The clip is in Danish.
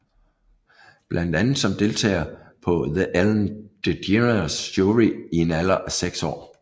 Blandt andet som deltager på The Ellen DeGeneres Showi en alder af seks år